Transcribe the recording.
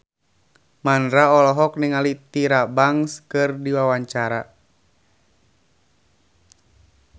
Mandra olohok ningali Tyra Banks keur diwawancara